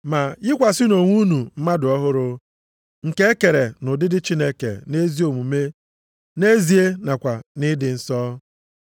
Ma yikwasịnụ onwe unu mmadụ ọhụrụ, nke e kere nʼụdịdị Chineke nʼezi omume nʼezie nakwa nʼịdị nsọ.